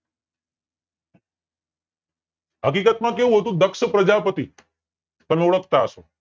હકીકત માં કેવું હતું દક્ષ પ્રજાપતિ તમે ઓળખાતા હસો